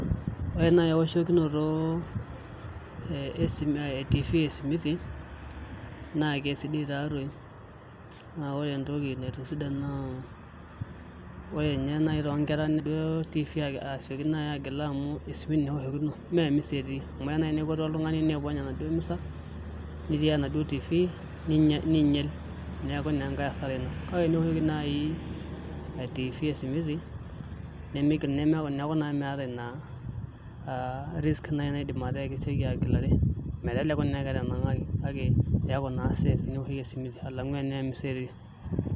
Ore nai ewoshokinoto e tifi esimiti, na kesidai tatoi. Na ore entoki naitisidan naa ore nye nai tonkera ijo tifi asioki nai agila amu esimiti neoshokino, memisa etii. Amu eya nai nelotu oltung'ani nipony enaduo misa, nitiaya enaduo tifi, niinyel. Neeku naa enkae asara ina. Kake eniwoshoki nai tifi esimiti, neeku naa meeta ina risk nai naidim ataa keseki agilare. Meteleku naa enaa ketanang'aki. Kake keeku naa safe teniwoshoki esimiti, alang'u enaa emisa etii.